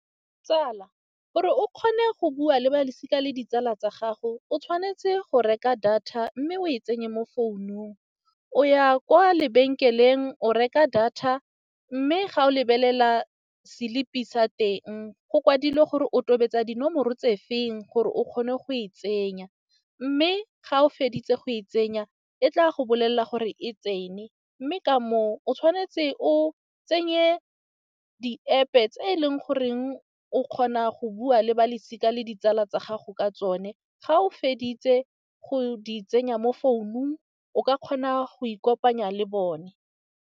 Tsala gore o kgone go bua le balosika le ditsala tsa gago, o tshwanetse go reka data mme o e tsenye mo founung. O ya kwa lebenkeleng o reka data, mme ga o lebelela selipi sa teng go kwadilwe gore o tobetsa dinomoro tse feng gore o kgone go e tsenya. Mme ga o feditse go e tsenya e tla go bolelela gore e tsene, mme ka moo o tshwanetse o tsenye di-App-e tse e leng goreng o kgona go bua le balosika le ditsala tsa gago ka tsone. Ga o feditse go di tsenya mo founung o ka kgona go ikopanya le bone.